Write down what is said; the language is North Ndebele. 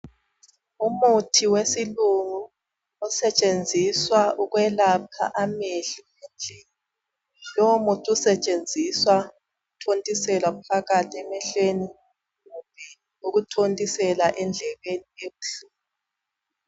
Umuthi wesilungu osetshenziswa ukwelapha amehlo, lowo muthi osetshenziswa ukuthontiselwa phakathi emehlweni ukuthontisela endlebeni ebuhlungu.